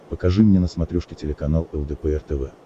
покажи мне на смотрешке телеканал лдпр тв